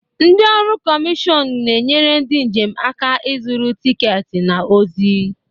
Ndị ọrụ kọmishọn na-enyere ndị njem aka ịzụrụ tiketi na ozi.